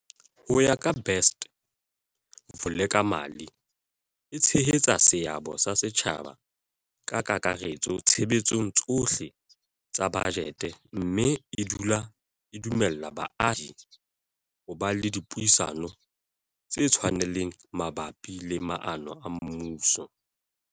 Ho ya ka Best, Vulekamali e tshehetsa seabo sa setjhaba ka kakaretso tshebetsong tsohle tsa bajete mme e dumella baahi ho ba le dipuisano tse tshwanelehang mabapi le maano a mmuso.